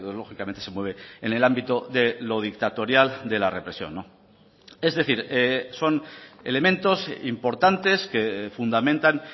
lógicamente se mueve en el ámbito de lo dictatorial de la represión es decir son elementos importantes que fundamentan